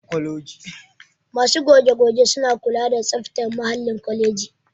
Masu goge-goge suna kula da tsaftar muhallin kwaleji